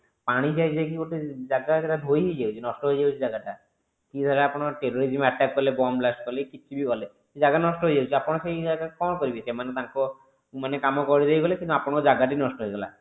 କି ଧର terrorism ଧର attack କଲେ bomb blast କଲେ କି କିଛି ବି କଲେ ସେ ଜାଗା ନଷ୍ଟ ହେଇଯାଉଛି ଆପଣ ସେଇ ଜାଗାରେ କଣ କରିବେ ସେମାନେ ତାଙ୍କ ମାନେ କାମ କରି ଦେଇ ଗଲେ କିନ୍ତୁ ଆପଣଙ୍କ ଜାଗା ଟି ନଷ୍ଟ ହେଇଗଲା